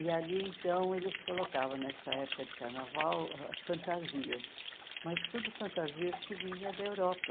E ali, então, eles colocavam, nessa época de carnaval, fantasias, mas tudo fantasias que vinham da Europa.